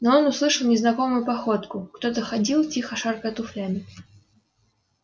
но он услышал незнакомую походку кто-то ходил тихо шаркая туфлями